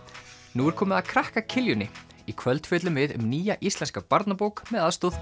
nú er komið að krakka í kvöld fjöllum við um nýja íslenska barnabók með aðstoð